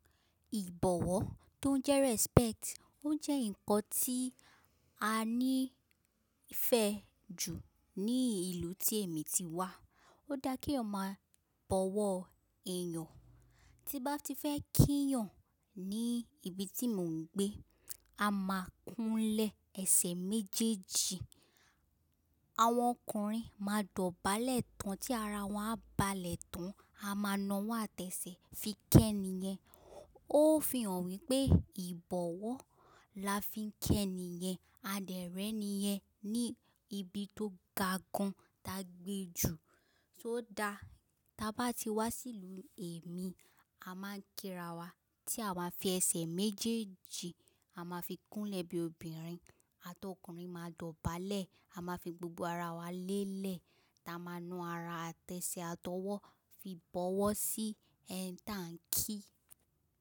Ìbọ̀wọ̀ tó jẹ́ respect, ó jẹ́ ǹkan tí a ní ìfẹ́ jù ní ìlú tí èmi ti wá. Ó dá kí èèyàn máa bọ̀wọ̀ èèyàn, tí bá ti fẹ́ kíyàn ní ibi tí mò ń gbé, a máa kúnlẹ̀ ẹsẹ̀ méjèèjì, àwọn ọkùnrin máa dọ̀bálẹ̀ tán tí ara wọ́n á balẹ̀ tán, a máa na wọ́n àtẹ̀sẹ̀ fi kẹ́ni yen, ó fi hàn wípé ìbọ̀wọ̀ la fi ń kẹ́ni yen, adẹ rẹ ni yen ní ibi tó ga gan ta gbé jù, tó dá ta bá ti wá sí ìlú èmi, a máa ń kíra wa tí àwa fi ẹsẹ̀ méjèèjì, a máa fi kúnlẹ̀ bí obìnrin àtọ ọkùnrin máa dọ̀bálẹ̀, a máa fi gbogbo ara wa lélẹ̀, ta máa na ara àtẹ̀sẹ̀ àtọwọ́ fi bọ̀wọ̀ sí ẹni tí à ń kí.